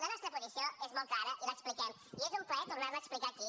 la nostra posició és molt clara i l’expliquem i és un plaer tornar la a explicar aquí